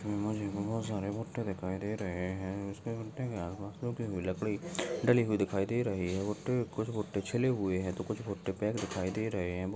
मुझे बहुत सारे भुट्टे दिखाई दे रहे है लकड़ी डली हुई दिखाई दे रही है कुछ भुट्टे छिले हुए और कुछ भुट्टे पैक दिखाई दे रहे है।